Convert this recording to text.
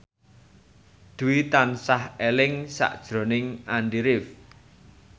Dwi tansah eling sakjroning Andy rif